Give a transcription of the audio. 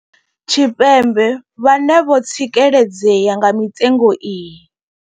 Tshipembe vhane vho tsikeledzea nga mitengo iyi.